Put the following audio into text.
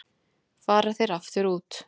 Fara þeir aftur út